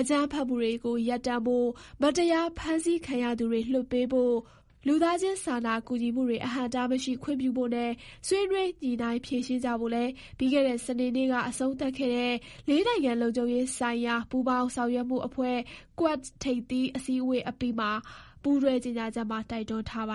အကြမ်းဖက်မှုတွေရပ်တန့်ဖို့၊ မတရားဖမ်းဆီးခံရသူတွေ လွှတ်ပေးဖို့၊ လူသားချင်းစာနာကူညီမှုတွေ အဟန့်အတားမရှိ ခွင့်ပြုဖို့နဲ့ ဆွေးနွေးညှိနှိုင်းဖြေရှင်းကြဖို့လည်း ပြီးခဲ့တဲ့ စနေနေ့က အဆုံးသတ်ခဲ့တဲ့ ၄ နိုင်ငံ လုံခြုံရေးဆိုင်ရာ ပူးပေါင်းဆောင်ရွက်မှုအဖွဲ့ QUAD ထိပ်သီးအစည်းအဝေးအပြီး ပူးတွဲကြေညာချက်မှာ တိုက်တွန်းထားပါ